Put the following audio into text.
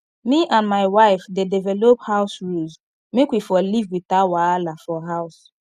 me and my wife dey develop house rules make we for live without wahala for house